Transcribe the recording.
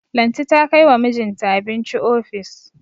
Lanti ta kai wa mijinta abinci ofis.